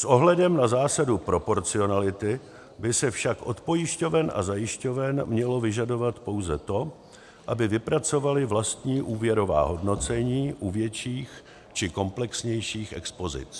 S ohledem na zásadu proporcionality by se však od pojišťoven a zajišťoven mělo vyžadovat pouze to, aby vypracovaly vlastní úvěrová hodnocení u větších či komplexnějších expozic.